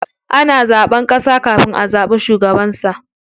Ana zaɓen ƙasa kafin a zaɓi shugabansa.